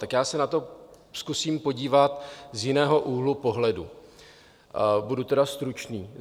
Tak já se na to zkusím podívat z jiného úhlu pohledu, budu tedy stručný.